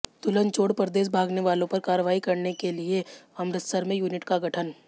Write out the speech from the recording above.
दुल्हन छोड़ परदेस भागने वालों पर कार्रवाई के लिए अमृतसर में यूनिट का गठन